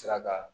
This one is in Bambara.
Sira kan